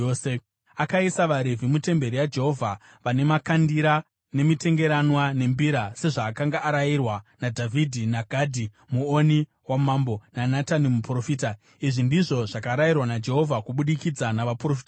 Akaisa vaRevhi mutemberi yaJehovha vane makandira, nemitengeranwa nembira sezvaakanga arayirwa naDhavhidhi naGadhi muoni wamambo naNatani muprofita. Izvi ndizvo zvakarayirwa naJehovha kubudikidza navaprofita vake.